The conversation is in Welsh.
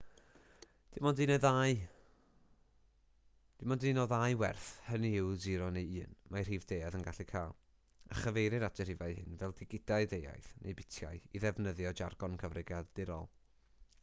dim ond un o ddau werth hynny yw 0 neu 1 mae rhif deuaidd yn gallu cael a chyfeirir at y rhifau hyn fel digidau deuaidd neu bitiau i ddefnyddio jargon cyfrifiadurol